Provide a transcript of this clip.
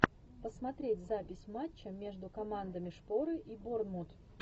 посмотреть запись матча между командами шпоры и борнмут